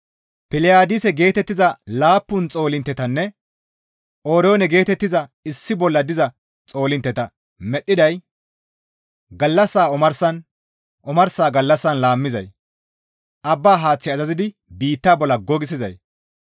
Piliyaadise geetettiza laappun xoolinttetanne Oryoone geetettiza issi bolla diza xoolintteta medhdhiday gallassaa omarsan, omarsa gallassan laammizay, abba haath azazidi biitta bolla gogissizay,